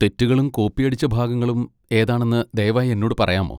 തെറ്റുകളും കോപ്പിയടിച്ച ഭാഗങ്ങളും ഏതാണെന്ന് ദയവായി എന്നോട് പറയാമോ?